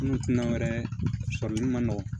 Minnu tunan wɛrɛ sɔrɔli ma nɔgɔn